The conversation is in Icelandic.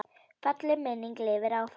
Falleg minning lifir áfram.